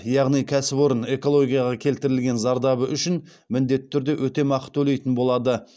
яғни кәсіпорын экологияға келтірген зардабы үшін міндетті түрде өтемақы төлейтін болады